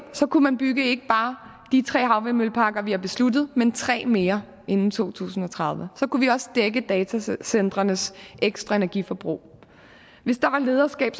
kunne man bygge ikke bare de tre havvindmølleparker vi har besluttet men tre mere inden to tusind og tredive så kunne vi også dække datacentrenes ekstra energiforbrug hvis der var lederskab